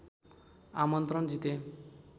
आमन्त्रण जिते